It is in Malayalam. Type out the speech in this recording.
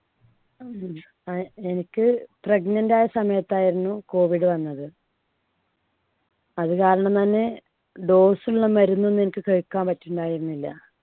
ഉം അതെ. എനിക്ക് pregnant ആയ സമയത്ത് ആയിരുന്നു COVID വന്നത്. അതുകാരണം തന്നെ doss ഉള്ള മരുന്നൊന്നും എനിക്ക് കഴിക്കാൻ പറ്റുമായിരുന്നില്ല.